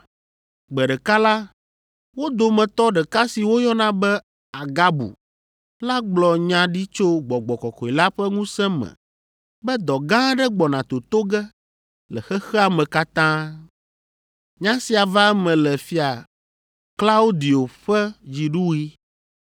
Gbe ɖeka la, wo dometɔ ɖeka si woyɔna be Agabu la gblɔ nya ɖi tso Gbɔgbɔ Kɔkɔe la ƒe ŋusẽ me be dɔ gã aɖe gbɔna toto ge le xexea me katã. (Nya sia va eme le Fia Klaudio ƒe dziɖuɣi.)